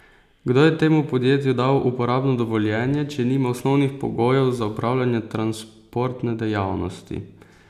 Kdo je temu podjetju dal uporabno dovoljenje, če nima osnovnih pogojev za opravljanje transportne dejavnosti?